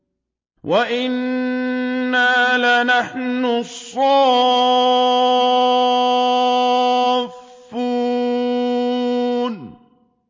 وَإِنَّا لَنَحْنُ الصَّافُّونَ